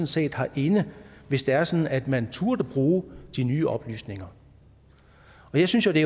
set har inde hvis det er sådan at man turde bruge de nye oplysninger jeg synes jo det